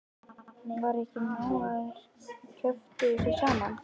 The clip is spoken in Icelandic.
Var ekki nóg að þær kjöftuðu sig saman?